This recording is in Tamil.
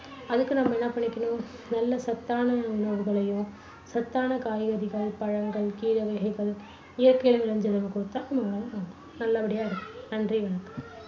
அதுக்கு நம்ம என்ன பண்ணிக்கணும் நல்ல சத்தான உணவுகளையும், சத்தான காய்கறிகள், பழங்கள், கீரை வகைகள், இயற்கையில விளைஞ்சதை குடுத்தா நல்லபடியா இருக்கலாம். நன்றி வணக்கம்.